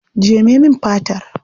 Jeme min fatar.